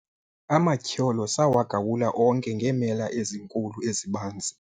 amatyholo sawagawula onke ngeemela ezinkulu ezibanzi